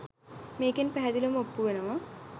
මේකෙන් පැහැදිලිව ඔප්පු වෙනවා